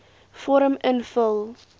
vorm invul